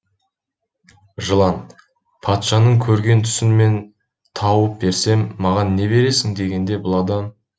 жылан патшаның көрген түсін мен тауып берсем маған не бересің дегенде бұл адам